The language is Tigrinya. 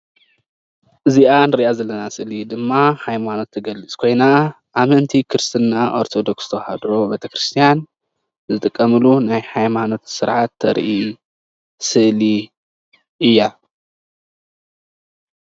እዚአ እንሪአ ዘለና ስእሊ ድማ ሃይማኖት እትገልፅ ኮይና አመንቲ ክርስትና ኦርቶዶክስ ተዋህዶ ቤተ ክርስትያን ዝጥቀምሉ ናይ ሃይማኖት ስርዓት ተርኢ ስእሊ እያ።